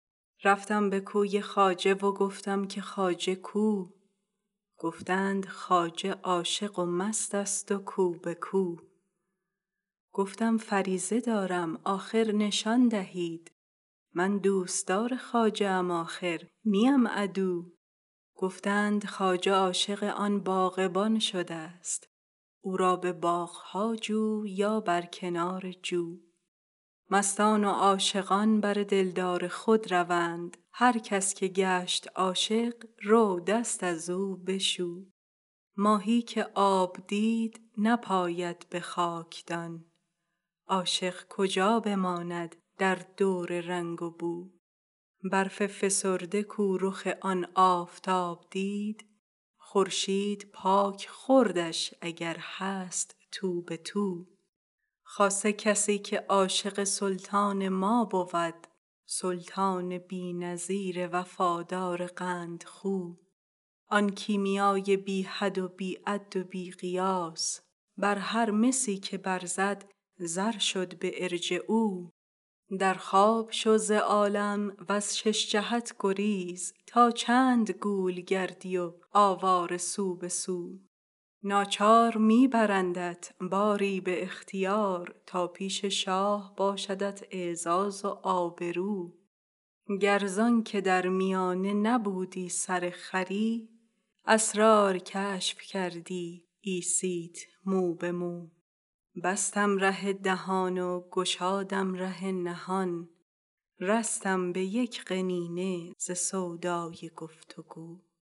رفتم به کوی خواجه و گفتم که خواجه کو گفتند خواجه عاشق و مست است و کو به کو گفتم فریضه دارم آخر نشان دهید من دوستدار خواجه ام آخر نیم عدو گفتند خواجه عاشق آن باغبان شده ست او را به باغ ها جو یا بر کنار جو مستان و عاشقان بر دلدار خود روند هر کس که گشت عاشق رو دست از او بشو ماهی که آب دید نپاید به خاکدان عاشق کجا بماند در دور رنگ و بو برف فسرده کو رخ آن آفتاب دید خورشید پاک خوردش اگر هست تو به تو خاصه کسی که عاشق سلطان ما بود سلطان بی نظیر وفادار قندخو آن کیمیای بی حد و بی عد و بی قیاس بر هر مسی که برزد زر شد به ارجعوا در خواب شو ز عالم وز شش جهت گریز تا چند گول گردی و آواره سو به سو ناچار می برندت باری به اختیار تا پیش شاه باشدت اعزاز و آبرو گر ز آنک در میانه نبودی سرخری اسرار کشف کردی عیسیت مو به مو بستم ره دهان و گشادم ره نهان رستم به یک قنینه ز سودای گفت و گو